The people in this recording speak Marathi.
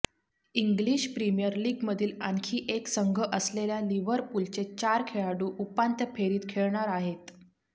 इंग्लिश प्रीमियर लीगमधील आणखी एक संघ असलेल्या लिव्हरपूलचे चार खेळाडू उपांत्य फेरीत खेळणार आहेत